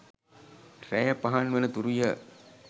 රැය පහන් වන තුරුය.